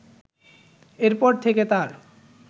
এরপর থেকে তার